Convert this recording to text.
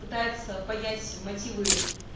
пытается понять мотивы